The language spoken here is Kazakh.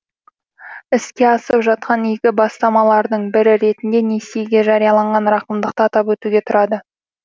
іске асып жатқан игі бастамалардың бірі ретінде несиеге жарияланған рақымдықты атап өтуге тұрады